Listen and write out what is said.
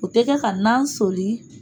O tɛ kɛ ka nan soli.